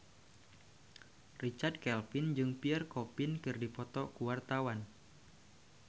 Richard Kevin jeung Pierre Coffin keur dipoto ku wartawan